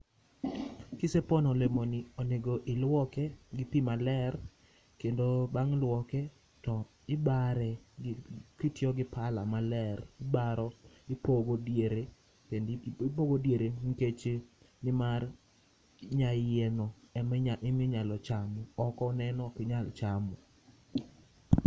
Kisepono olemoni onego iluoke gi pii maler, kendo bang luoke to ibare kitiyo gi pala maler. Baro ipogo diere, ipogo diere nikech nimar nyaiye no ema inyalo chamo, oko neno ok inyal chamo